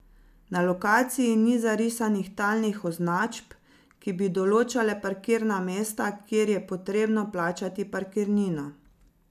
Na lokaciji ni zarisanih talnih označb, ki bi določale parkirna mesta, kjer je potrebno plačati parkirnino.